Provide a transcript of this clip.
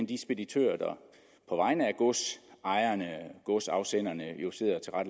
de speditører der på vegne af godsafsenderne jo sidder og